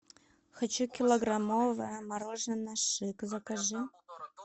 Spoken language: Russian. хочу килограммовое мороженое шик закажи